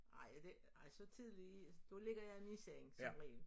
Ej det ej så tidligt da ligger jeg i min seng som regel